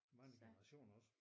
Mange generationer også